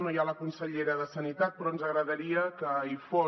no hi ha la consellera de sanitat però ens agradaria que hi fos